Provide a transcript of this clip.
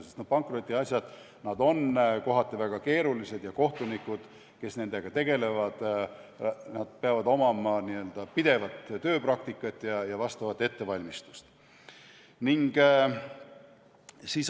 Sest pankrotiasjad on kohati väga keerulised ning kohtunikel, kes nendega tegelevad, peab olema pidev tööpraktika ja vastav ettevalmistus.